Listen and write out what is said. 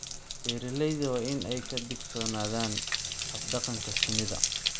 Beeralayda waa in ay ka digtoonaadaan hab-dhaqanka shinnida.